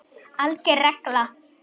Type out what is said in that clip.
ALGER REGLA